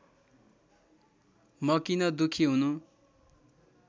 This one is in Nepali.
म किन दुःखी हुनु